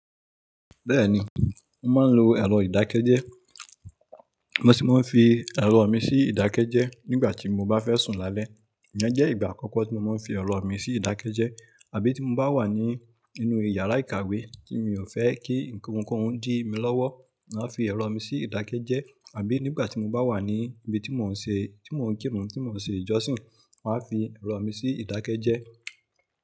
Bẹ́ẹ̀ni mo máa ń lo ẹ̀rọ ìdákẹ́jẹ́. Mo sì máa ń fi ẹ̀rọ mi sí ìdákẹ́jẹ́ nígbà tí mo bá fẹ́ sùn lálẹ́. Ìyẹn jẹ́ ìgbà àkọ́kọ́ tí mo máa ń fi ẹ̀rọ mi sí ìdákẹ́jẹ́. Àbí tí mo bá wà ní inú yàrá ìkàwé tí mi ò fẹ́ kí ohunkóhun di mí lọ́wọ́, màá fi ẹ̀rọ mi sí ìdákẹ́jẹ́. Àbí nígbà tí mo bá wà ní ibi tí mo ń kírun tí mo ń ṣe ìjọsìn máa fi ẹ̀rọ mi sí ìdákẹ́jẹ́.